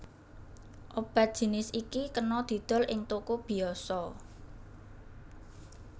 Obat jinis iki kena didol ing toko biyasa